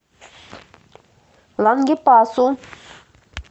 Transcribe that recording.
лангепасу